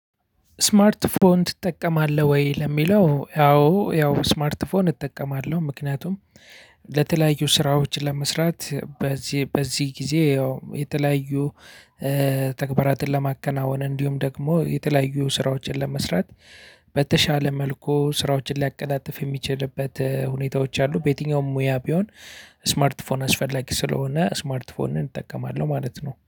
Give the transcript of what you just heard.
ስማርት ስልክ ትጠቀማለህ? ወይ ለሚለው ያው ያው ስማርት ፎን እጠቀማለህ ምክንያቱም ለተለያዩ ስራዎች ለመስራት። በዚህ በዚህ ጊዜ ያው የተለያዩ ተግባራትን ለማከናወን። እንዲሁም ደግሞ የተለያዩ ስራዎችን ለመስራት በተሻለ መልኩ ስራዎችን ሊያቀላጥፍ የሚችልበት ሁኔታዎች አሉ። በየትኛውም ሙያ ቢሆን ስማርት ፎን አስፈላጊ ስለሆነ ስማርት ፎንን እጠቀማለሁ።